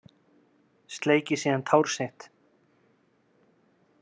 Sleikir síðan tár sitt.